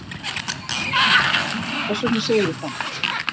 Lára Ómarsdóttir: Hvers vegna segir þú það?